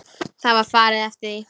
Það var farið eftir því.